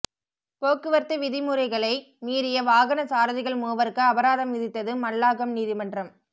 போக்குவரத்து விதி முறைகளை மீறிய வாகனச் சாரதிகள் மூவருக்கு அபராதம் விதித்தது மல்லாகம் நீதிமன்றம்